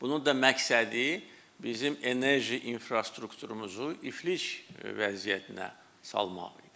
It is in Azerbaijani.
Bunun da məqsədi bizim enerji infrastrukturumuzu iflic vəziyyətinə salmaq idi.